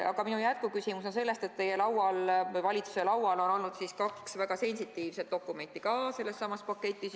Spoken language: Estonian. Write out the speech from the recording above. Aga minu jätkuküsimus on sellest, et teie või valitsuse laual on olnud kaks väga sensitiivset dokumenti sellestsamast paketist.